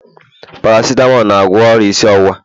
paracetamol na-agwọ isi ọwụwa